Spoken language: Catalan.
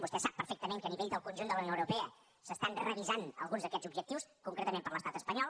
vostè sap perfectament que a nivell del conjunt de la unió europea s’estan revisant alguns d’aquests objectius concretament per l’estat espanyol